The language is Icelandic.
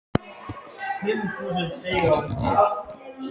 Án þess að hún viti það.